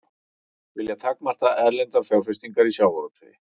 Vilja takmarka erlendar fjárfestingar í sjávarútvegi